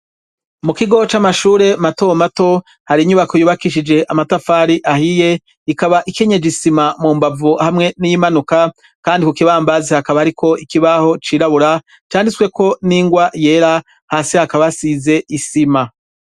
Mu kigo c'amashure matomato hari inyubako yubakishije amatafari ahiye ikaba ikenyeje isima mu mbavu hamwe n'imanuka, kandi ku kibambazi hakaba, ariko ikibaho cirabura candisweko n'ingwa yera hasi hakabasize isima.